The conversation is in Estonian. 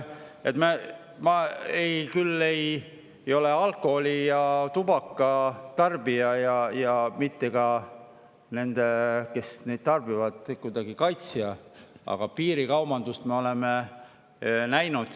Ma küll ei ole alkoholi ja tubaka tarbija, mitte kuidagi ka nende kaitsja, kes neid tarbivad, aga piirikaubandust me oleme näinud.